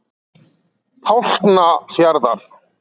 Tálknafjarðar